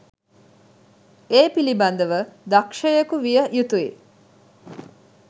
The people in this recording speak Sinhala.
ඒ පිළිබඳව දක්ෂයකු විය යුතුයි.